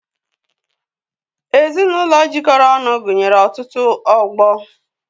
Ezinụlọ jikọrọ ọnụ gụnyere ọtụtụ ọgbọ